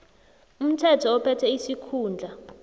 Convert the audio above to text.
umthetho ophethe isikhundla